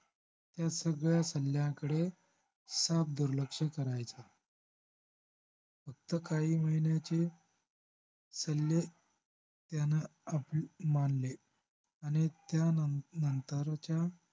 त्या सगळ्या सल्याकडे साफ दुर्लक्ष करायचा फक्त काही महिन्याचे सल्ले त्यानं मानले आणि त्यानंत त्यानंतरच्या